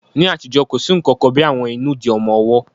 Ní àtijọ́, kò sí nǹkan kan bí í àwọn ìnùdí ọmọ ọwọ́